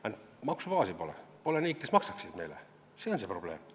Ainult maksubaasi pole, pole neid, kes maksaksid meile makse, see on see probleem.